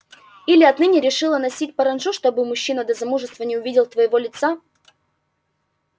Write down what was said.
или отныне решила носить паранджу чтобы мужчина до замужества не увидел твоего лица